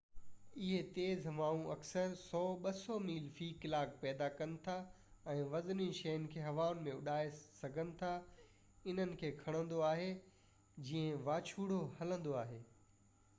اهي تيز هوائون اڪثر 100-200 ميل في ڪلاڪ پيدا ڪن ٿا ۽ وزني شين کي هوا ۾ اڏائي سگهن ٿا، انهن کي کڻندو آهي جيئن واچوڙو هلندو آهي